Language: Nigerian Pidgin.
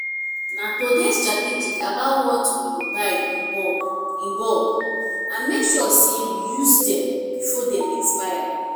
na to dey strategic about what we buy in bulk in bulk and make sure say we use dem before dem expire.